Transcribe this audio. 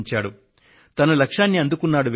శ్రీ వికాస్ ఠాకూర్ తన లక్ష్యాన్ని అందుకున్నాడు